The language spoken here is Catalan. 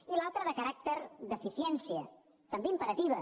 i l’altre de caràcter d’eficiència també imperativa